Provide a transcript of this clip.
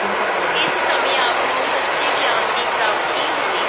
ਇਸ ਸਮੇਂ ਆਪ ਨੂੰ ਸੱਚੇ ਗਿਆਨ ਦੀ ਪ੍ਰਾਪਤੀ ਹੋਈ।